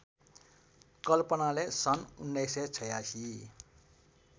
कल्पनाले सन् १९८६